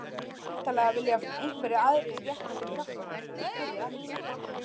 En væntanlega vilja einhverjir aðrir rétta þér hjálparhönd? spurði Ella.